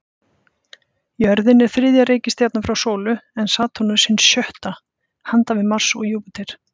Jörðin er þriðja reikistjarnan frá sólu, en Satúrnus hin sjötta, handan við Mars og Júpíter.